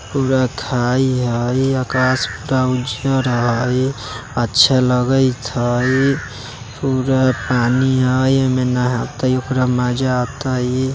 पूरा खाई हई आकाश पूरा उज्जर हई अच्छा लगइत हई पूरा पानी हई एमे नहाते ओकरा मजा आतइ।